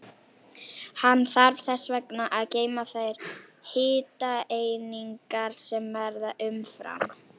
Hann þarf þess vegna að geyma þær hitaeiningar sem verða umfram.